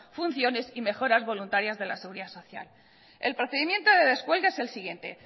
funciones y mejoras voluntarias de la seguridad social el procedimiento de descuelgue es el siguiente